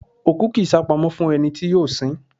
òkú kì í sápamọ́ fún ẹni tí yóò sin ín